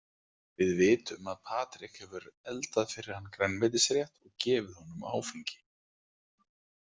Við vitum að Patrik hefur eldað fyrir hann grænmetisrétt og gefið honum áfengi.